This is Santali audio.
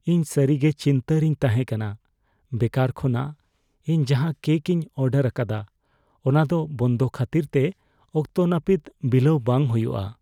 ᱤᱧ ᱥᱟᱹᱨᱤ ᱜᱮ ᱪᱤᱱᱛᱟᱹ ᱨᱮᱧ ᱛᱟᱦᱮᱸ ᱠᱟᱱᱟ ᱵᱮᱠᱟᱨ ᱠᱷᱚᱱᱟᱜ ᱤᱧ ᱡᱟᱸᱦᱟ ᱠᱮᱠ ᱤᱧ ᱚᱰᱟᱨ ᱟᱠᱟᱫᱟ ᱚᱱᱟ ᱫᱚ ᱵᱚᱱᱫᱚ ᱠᱷᱟᱹᱛᱤᱨᱛᱮ ᱚᱠᱛᱚ ᱱᱟᱹᱯᱤᱛ ᱵᱤᱞᱟᱹᱣ ᱵᱟᱝ ᱦᱩᱭᱩᱜᱼᱟ ᱾